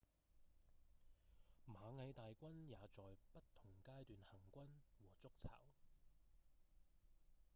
螞蟻大軍也在不同階段行軍和築巢